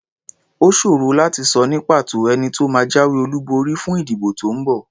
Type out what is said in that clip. Ó ṣòro láti sọ ní pàtó ẹni tó máa jáwé olúborí fún ìdìbò tó ń bọ̀.